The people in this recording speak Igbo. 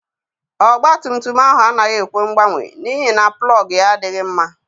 Ọgba tum tum ahụ anaghị ekwe mgbanye n'ihi na plọg ya adịghị mma.